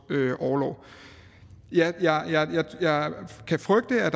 orlov jeg kan frygte at